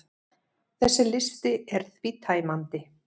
Þessi listi er því tæmandi.